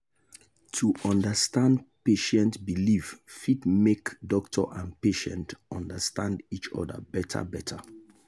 to understand patient belief fit make doctor and patient understand each other better. better.